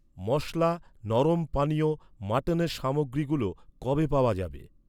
মশলা, নরম পানীয়, মাটনের সামগ্রীগুলো কবে পাওয়া যাবে?